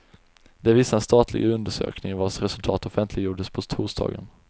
Det visar en statlig undersökning vars resultat offentliggjordes på torsdagen.